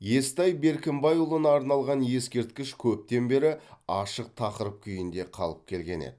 естай беркімбайұлына арналған ескерткіш көптен бері ашық тақырып күйінде қалып келген еді